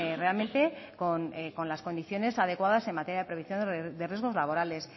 realmente con las condiciones adecuadas en materia de prevención de riesgos laborales